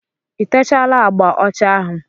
I techaala agba ọcha ahụ?